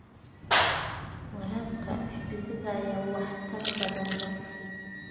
Waraabka dhibicda ayaa waxtar badan leh.